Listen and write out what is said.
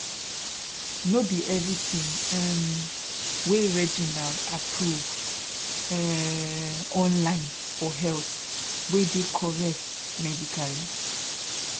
no be everything um wey reginald approve um online for health wey dey correct medically